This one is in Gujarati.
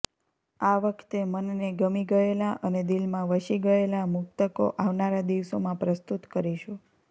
આ વખતે મનને ગમી ગયેલા અને દિલમાં વસી ગયેલા મુક્તકો આવનારા દિવસોમાં પ્રસ્તુત કરીશું